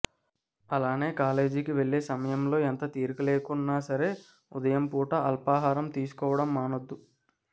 అలానే కాలేజీకి వెళ్లే సమయంలో ఎంత తీరికలేకున్నా సరే ఉదయం పూట అల్పాహారం తీసుకోవడం మానొద్దు